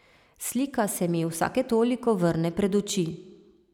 Slika se mi vsake toliko vrne pred oči.